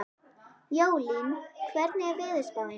Jólín, hvernig er veðurspáin?